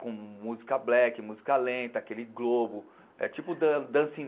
Com música black, música lenta, aquele globo, é tipo